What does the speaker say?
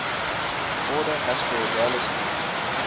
order asparagales link